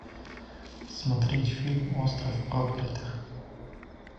смотреть фильм остров проклятых